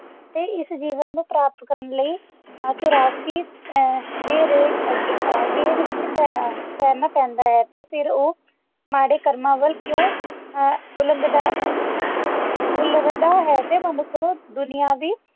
ਹਰ ਰਾਤ ਕਿ ਮੈਂ ਤੇਰੇ ਅੱਗੇ ਐਕਟ ਵਿੱਚ ਪੈਣਾ ਪੈਂਦਾ ਹੈ ਫਿਰ ਉਹ ਮਾੜੇ ਕੰਮਾਂ ਵੱਲ ਕਿਉਂ ਉਲਾਗ੍ਨ੍ਦਾ ਹੈ ਤੇ ਮਨੁੱਖ ਨੂੰ ਦੁਨਿਆਵੀ